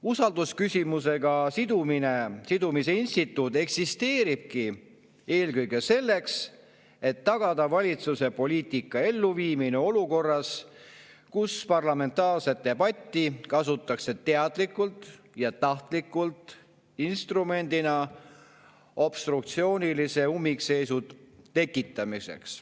Usaldusküsimusega sidumise instituut eksisteeribki eelkõige selleks, et tagada valitsuse poliitika elluviimine olukorras, kus parlamentaarset debatti kasutatakse teadlikult ja tahtlikult instrumendina obstruktsioonilise ummikseisu tekitamiseks.